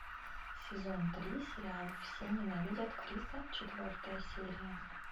сезон три сериал все ненавидят криса четвертая серия